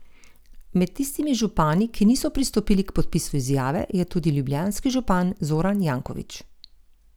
Med tistimi župani, ki niso pristopili k podpisu izjave, je tudi ljubljanski župan Zoran Janković.